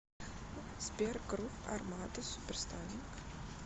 сбер грув армада суперстайлин